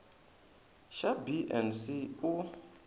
xa b na c u